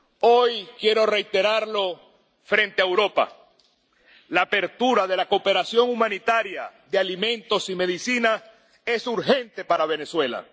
Hoy quiero reiterarlo frente a Europa la apertura de la cooperación humanitaria de alimentos y medicinas es urgente para Venezuela.